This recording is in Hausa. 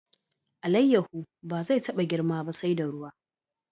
Alayyahu ba zai taba girma ba sai da ruwa.